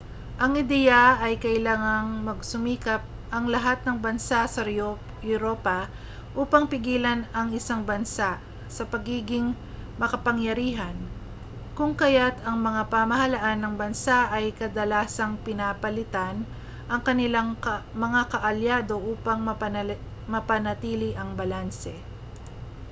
ang ideya ay kailangang magsumikap ang lahat ng bansa sa europa upang pigilan ang isang bansa sa pagiging makapangyarihan kung kaya't ang mga pamahalaan ng bansa ay kadalasang pinapalitan ang kanilang mga kaalyado upang mapanatili ang balanse